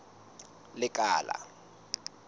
lekala